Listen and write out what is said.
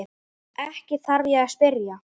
Ekki þarf ég að spyrja.